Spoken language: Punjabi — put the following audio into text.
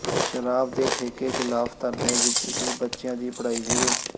ਸ਼ਰਾਬ ਦੇ ਠੇਕੇ ਖ਼ਿਲਾਫ਼ ਧਰਨੇ ਵਿੱਚ ਹੀ ਬੱਚਿਆਂ ਦੀ ਪੜ੍ਹਾਈ ਸ਼ੁਰੂ